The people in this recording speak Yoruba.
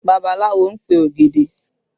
Babaláwo ń pe ògèdè